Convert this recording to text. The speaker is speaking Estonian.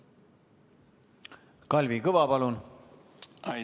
Kalvi Kõva, palun!